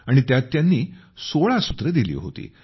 आणि त्यात त्यांनी 16 सूत्र दिली होती